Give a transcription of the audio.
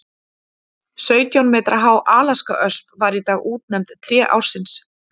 Sautján metra há alaskaösp var í dag útnefnd tré ársins.